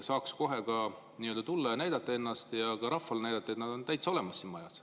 Saaks kohe tulla ja näidata ennast, ka rahvale näidata, et nad on täitsa olemas siin majas.